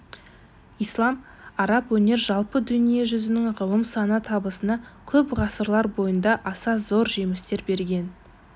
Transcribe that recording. ислам араб өнер жалпы дүние жүзінің ғылым сана табысына көп ғасырлар бойында аса зор жемістер берген